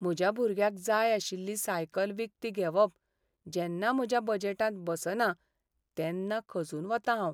म्हज्या भुरग्याक जाय आशिल्ली सायकल विकती घेवप जेन्ना म्हज्या बजेटांत बसना तेन्ना खचून वतां हांव.